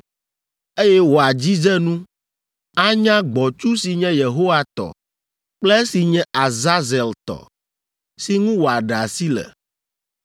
eye wòadzidze nu, anya gbɔ̃tsu si nye Yehowa tɔ kple esi nye Azazel tɔ, si ŋu wòaɖe asi le.